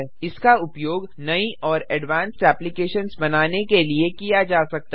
इसका उपयोग नई और एडवांस्ड एप्लिकेशन्स बनाने के लिए किया जा सकता है